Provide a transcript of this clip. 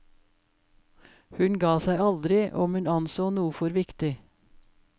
Hun ga seg aldri om hun anså noe for viktig.